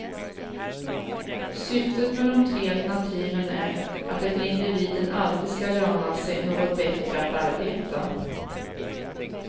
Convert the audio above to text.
Syftet med de tre alternativen är att det för individen alltid skall löna sig något bättre att arbeta.